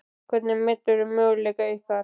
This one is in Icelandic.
Hvernig meturðu möguleika ykkar?